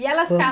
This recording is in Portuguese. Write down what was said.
E elas ca